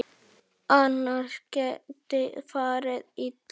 Annars geti farið illa.